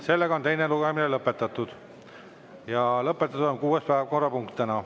Sellega on teine lugemine lõpetatud ja lõpetatud on kuues päevakorrapunkt täna.